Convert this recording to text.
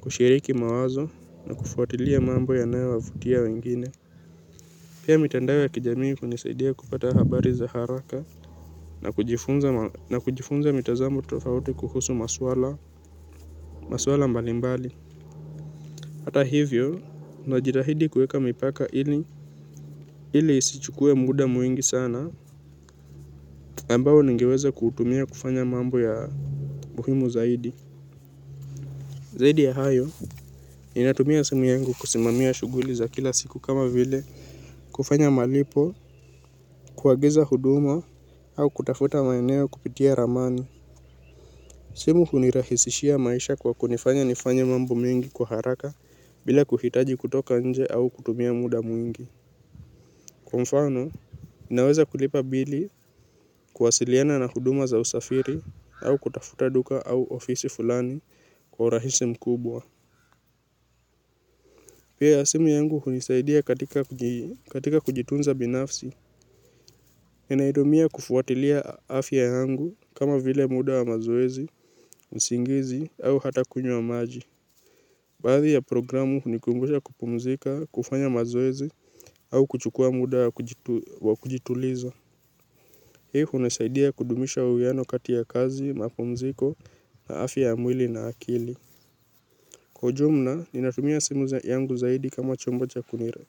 kushiriki mawazo na kufuatilia mambo yanayo wavutia wengine. Pia mitandao ya kijamii hunisaidia kupata habari za haraka na kujifunza mitazamo tofauti kuhusu masuala maswala mbali mbali. Hata hivyo najitahidi kuweka mipaka ili ili isichukue muda mwingi sana ambao ningeweza kutumia kufanya mambo ya muhimu zaidi. Zaidi ya hayo ninatumia simu yangu kusimamia shughuli za kila siku kama vile kufanya malipo kuagiza huduma au kutafuta maeneo kupitia ramani. Simu hunirahisishia maisha kwa kunifanya nifanye mambo mengi kwa haraka bila kuhitaji kutoka nje au kutumia muda mwingi. Kwa mfano, naweza kulipa bili kuwasiliana na huduma za usafiri au kutafuta duka au ofisi fulani kwa urahisi mkubwa. Pia simu yangu hunisaidia katika kujitunza binafsi. Ninaitumia kufuatilia afya yangu kama vile muda wa mazoezi, usingizi au hata kunywa maji. Baadhi ya programu kunikumbusha kupumzika, kufanya mazoezi au kuchukua muda wa kujituliza. Hii hunisaidia kudumisha uwiano kati ya kazi, mapumziko, afya ya mwili na akili. Kwa ujumla, ninatumia simu yangu zaidi kama chombo cha kunira.